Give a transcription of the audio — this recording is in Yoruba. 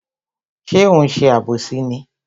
Ṣé ó ń ṣe àbòsí ni?